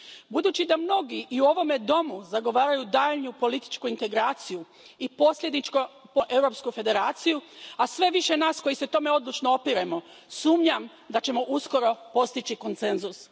Budući da mnogi i u ovome domu zagovaraju daljnju političku integraciju i, posljedično, europsku federaciju, a sve je više nas koji se tome odlučno opiremo, sumnjam da ćemo uskoro postići konsenzus.